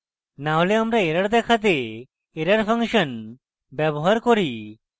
না হলে আমরা error দেখাতে error ফাংশন ব্যবহার করি